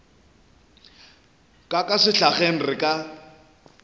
ka ka sehlageng re ka